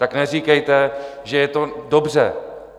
Tak neříkejte, že je to dobře.